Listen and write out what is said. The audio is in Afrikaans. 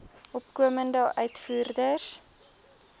opkomende uitvoerders